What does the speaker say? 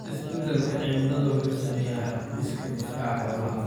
Isbeddelka cimiladu wuxuu saameeyaa hab-dhiska difaaca xoolaha.